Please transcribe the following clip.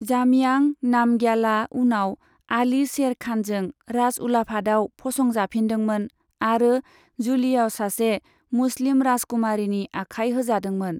जामयां नामग्याला उनाव आली शेर खानजों राज उलाफादाव फसंजाफिन्दोंमोन आरो जुलियाव सासे मुस्लिम राजकुमारीनि आखाइ होजादोंमोन।